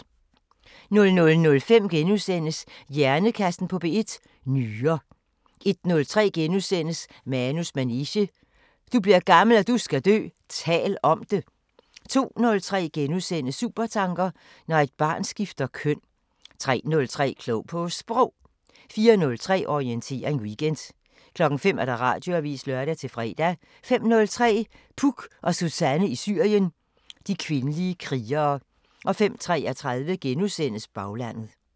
00:05: Hjernekassen på P1: Nyrer * 01:03: Manus manege: Du bliver gammel og du skal dø – tal om det * 02:03: Supertanker: Når et barn skifter køn * 03:03: Klog på Sprog 04:03: Orientering Weekend 05:00: Radioavisen (lør-fre) 05:03: Puk og Suzanne i Syrien: De kvindelige krigere 05:33: Baglandet *